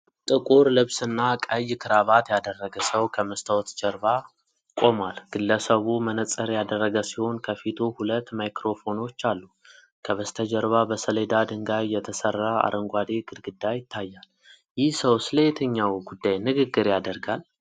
ጥቁር ልብስና ቀይ ክራባት ያደረገ ሰው ከመስታወት መድረክ ጀርባ ቆሟል። ግለሰቡ መነጽር ያደረገ ሲሆን ከፊቱ ሁለት ማይክሮፎኖች አሉ። ከበስተጀርባ በሰሌዳ ድንጋይ የተሠራ አረንጓዴ ግድግዳ ይታያል። ይህ ሰው ስለየትኛው ጉዳይ ንግግር ያደርጋል?